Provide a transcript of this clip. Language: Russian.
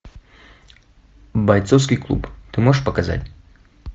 бойцовский клуб ты можешь показать